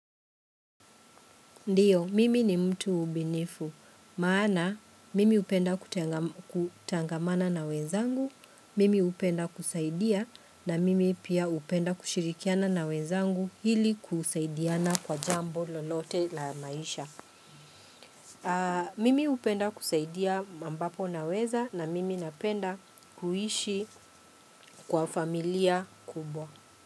Ndiyo, mimi ni mtu ubinifu. Maana, mimi hupenda kutangamana na wenzangu, mimi hupenda kusaidia na mimi pia hupenda kushirikiana na wenzangu hili kusaidiana kwa jambo lolote la maisha. Mimi hupenda kusaidia ambapo naweza na mimi napenda kuishi kwa familia kubwa.